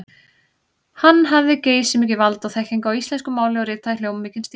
Hann hafði geysimikið vald og þekkingu á íslensku máli og ritaði hljómmikinn stíl.